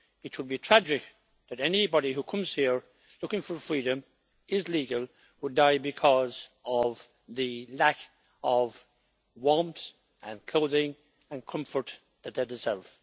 It would be tragic that anybody who comes here looking for freedom and is legal would die because of the lack of warmth, clothing and comfort that they deserve.